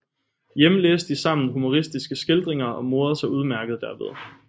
Hjemme læste de sammen humoristiske skildringer og morede sig udmærket derved